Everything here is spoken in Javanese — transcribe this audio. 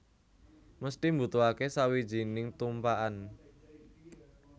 Mesthi mbutuhake sawijining tumpakan